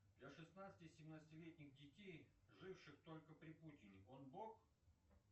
для шестнадцати семнадцатилетних детей живших только при путине он бог